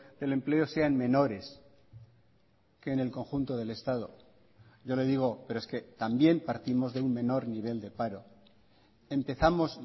del empleo sean menores que en el conjunto del estado yo le digo pero es que también partimos de un menor nivel de paro empezamos